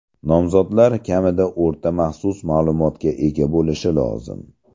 Nomzodlar kamida o‘rta-maxsus ma’lumotga ega bo‘lishi lozim.